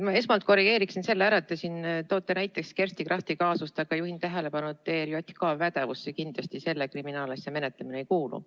Ma esmalt korrigeeriksin ära selle, et te siin toote näiteks Kersti Krachti kaasust, aga juhin tähelepanu, et ERJK pädevusse kindlasti selle kriminaalasja menetlemine ei kuulu.